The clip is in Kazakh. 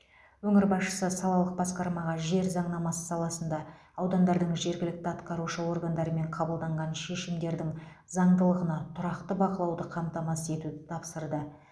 өңір басшысы салалық басқармаға жер заңнамасы саласында аудандардың жергілікті атқарушы органдарымен қабылданған шешімдердің заңдылығына тұрақты бақылауды қамтамасыз етуді тапсырды